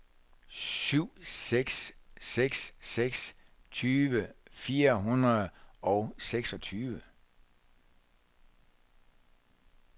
syv seks seks seks tyve fire hundrede og seksogtyve